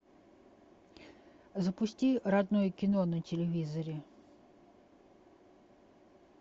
запусти родное кино на телевизоре